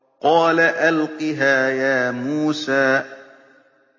قَالَ أَلْقِهَا يَا مُوسَىٰ